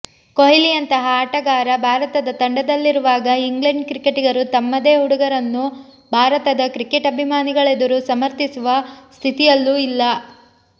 ಕೊಹ್ಲಿಯಂತಹ ಆಟಗಾರ ಭಾರತದ ತಂಡದಲ್ಲಿರುವಾಗ ಇಂಗ್ಲೆಂಡ್ ಕ್ರಿಕೆಟಿಗರು ತಮ್ಮದೇ ಹುಡುಗರನ್ನು ಭಾರತದ ಕ್ರಿಕೆಟ್ ಅಭಿಮಾನಿಗಳೆದುರು ಸಮರ್ಥಿಸುವ ಸ್ಥಿತಿಯಲ್ಲೂ ಇಲ್ಲ